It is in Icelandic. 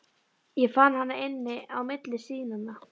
Ég fann hana inni á milli síðnanna.